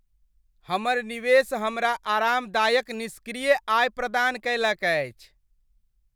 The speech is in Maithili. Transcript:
हमर निवेश हमरा आरामदायक निष्क्रिय आय प्रदान कयलक अछि।